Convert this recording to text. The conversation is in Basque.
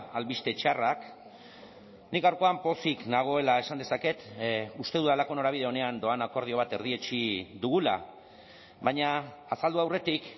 albiste txarrak nik gaurkoan pozik nagoela esan dezaket uste dudalako norabide onean doan akordio bat erdietsi dugula baina azaldu aurretik